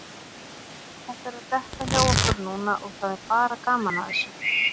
Þetta er að detta hjá okkur núna og það er bara gaman að þessu.